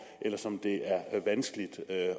eller som det er vanskeligt at